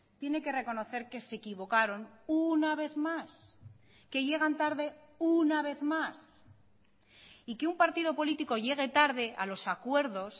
tiene que reconocer que se equivocaron una vez más que llegan tarde una vez más y que un partido político llegue tarde a los acuerdos